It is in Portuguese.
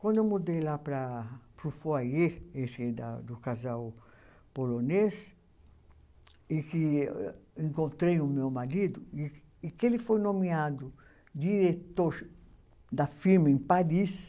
Quando eu mudei lá para, para o Foyer, esse da do casal polonês, e que encontrei o meu marido, e e que ele foi nomeado diretor da firma em Paris,